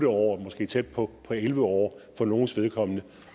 år måske tæt på elleve år for nogles vedkommende